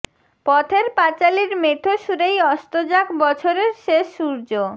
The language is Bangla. পথের পাঁচালির মেঠো সুরেই অস্ত যাক বছরের শেষ সূর্য